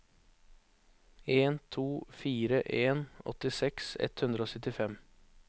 en to fire en åttiseks ett hundre og syttifem